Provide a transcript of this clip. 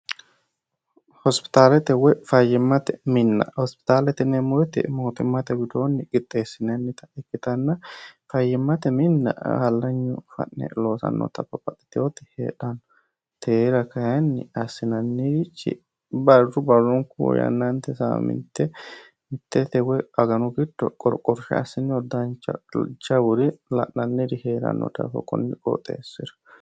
hospitaalete woy fayyimmate minna hospitaalete neemmoite mootimmate widoonni qixxeessinannita ikkitanna fayyimmate minna hallanyu fa'ne loosannota paxxitwoti heedhanno teera kayinni assinannirchi barru barronkuuyannaante sa mitte mittete woy aganu giddo qorqorshe assinyo daanchajawuri la'nanniri hee'ranno dafo kunni qooxeessira